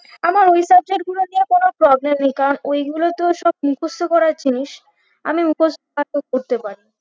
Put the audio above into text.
আমার ওই subject গুলোতে কোনো problem নেই কারণ ওই গুলো তো সব মুখস্থ করার জিনিস আমি মুখস্থ ভালো করে পারি